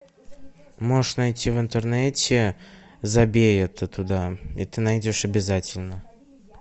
можешь найти в интернете забей это туда и ты найдешь обязательно